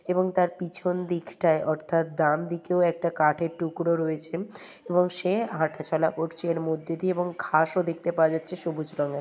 এবং তার পিছন দিকটাই অর্থাৎ তার ডান দিকেও একটা কাঠের টুকরো রয়েছে এবং সে হাঁটাচলা করছে এর মধ্যে দিয়ে এবং ঘাসও দেখতে পাওয়া যাচ্ছে সবুজ রঙের ।